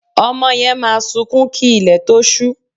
Ọmọ yẹn máa sunkún kí ilẹ̀ tó ṣú